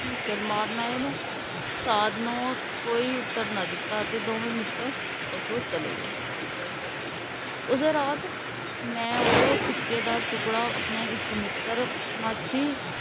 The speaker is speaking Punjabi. ਸਿਰ ਮਾਰਨ ਆਏ ਨੇ। ਸਾਧ ਨੂੰ ਕੋਈ ਉੱਤਰ ਅਤੇ ਦੋਵੇਂ ਮਿੱਤਰ ਉਥੋਂ ਚਲੇ ਗਏ ਉਸੇ ਰਾਤ ਮੈਂ ਉਹ ਸਿੱਕੇ ਦਾ ਟੁੱਕੜਾ ਆਪਣੇ ਇੱਕ ਮਿੱਤਰ ਮਾਛੀ,